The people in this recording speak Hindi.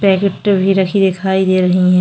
ब्रैकेट भी रखी दिखाई दे रही हैं।